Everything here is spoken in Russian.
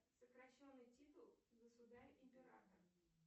сокращенный титул государь император